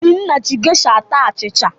Obinna ji geisha ata achịcha.